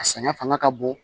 A saɲɔ fanga ka bon